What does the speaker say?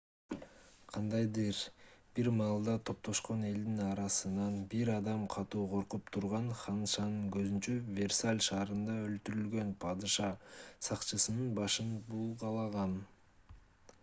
кандайдыр бир маалда топтошкон элдин арасынан бир адам катуу коркуп турган ханышанын көзүнчө версаль шаарында өлтүрүлгөн падыша сакчысынын башын булгалаган